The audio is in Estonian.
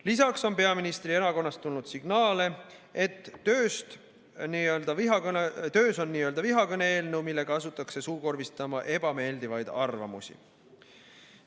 Lisaks on peaministri erakonnast tulnud signaale, et töös on nn vaenukõne eelnõu, millega asutaks suukorvistama ebameeldivaid arvamusi.